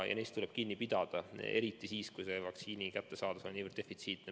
Ja neist tuleb kinni pidada, eriti siis, kui vaktsiin on nii defitsiitne.